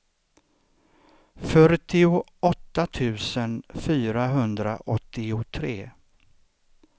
fyrtioåtta tusen fyrahundraåttiotre